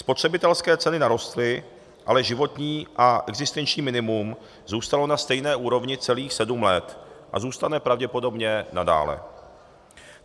Spotřebitelské ceny narostly, ale životní a existenční minimum zůstalo na stejné úrovni celých sedm let a zůstane pravděpodobně nadále.